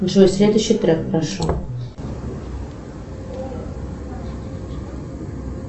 джой следующий трек прошу